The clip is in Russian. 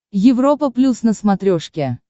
европа плюс на смотрешке